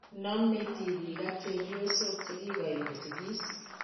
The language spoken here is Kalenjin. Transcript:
Nome tibik ak chepyosok che kikoim kosigis.